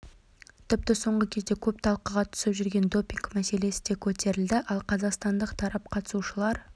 тіпті соңғы кезде көп талқыға түсіп жүрген допинг мәселесі де көтерілді ал қазақстандық тарап қатысушылар